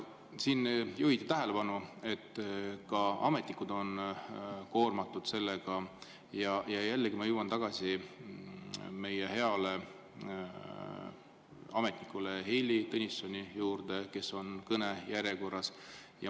Siin juhiti tähelepanu, et ka ametnikud on koormatud, ja jällegi ma jõuan tagasi meie hea ametniku Heili Tõnissoni juurde, kes on kõnejärjekorras.